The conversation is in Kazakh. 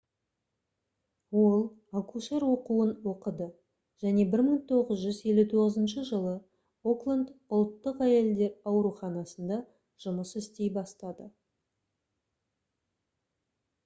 ол акушер оқуын оқыды және 1959 жылы окленд ұлттық әйелдер ауруханасында жұмыс істей бастады